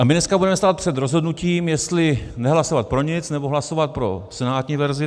A my dneska budeme stát před rozhodnutím, jestli nehlasovat pro nic, nebo hlasovat pro senátní verzi.